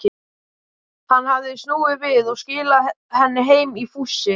Hann hafði snúið við og skilað henni heim í fússi.